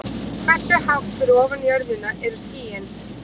Hversu hátt fyrir ofan jörðina eru skýin?